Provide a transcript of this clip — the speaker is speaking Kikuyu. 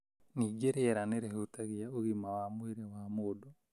Ningĩ rĩera nĩ rĩhutagia ũgima wa mwĩrĩ wa mũndũ.